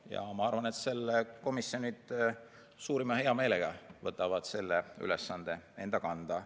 Ja ma arvan, et komisjonid suurima heameelega võtavad selle ülesande enda kanda.